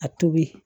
A tobi